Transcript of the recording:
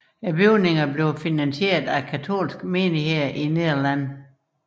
Bygningerne blev finansieret af katolske menigheder i Nederlandene